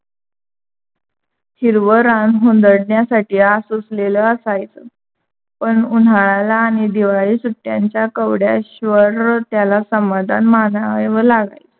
हिरव रान हुंदडण्यासाठी आसुसलेल असायच. पण उन्हाळ्याला आणि दिवाळी सुट्ट्यांच्या केवढ्याश्यावर त्याला समाधान मानावा लागायच.